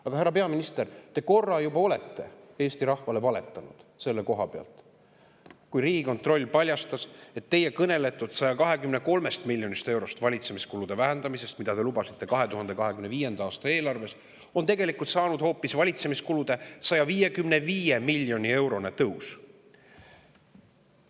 Aga härra peaminister, te korra juba olete Eesti rahvale valetanud selle koha pealt, kui Riigikontroll paljastas, et teie kõneletud 123 miljonist eurost valitsemiskulude vähendamisest, mida te lubasite 2025. aasta eelarves, on tegelikult saanud hoopis valitsemiskulude 155 miljoni euro suurune tõus.